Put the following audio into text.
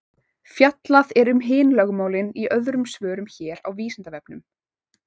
Fjallað er um hin lögmálin í öðrum svörum hér á Vísindavefnum.